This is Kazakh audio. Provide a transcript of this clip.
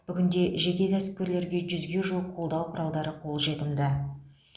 бүгінде жеке кәсіпкерлерге жүзге жуық қолдау құралдары қолжетімді